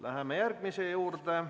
Läheme järgmise punkti juurde.